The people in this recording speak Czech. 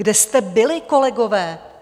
Kde jste byli, kolegové?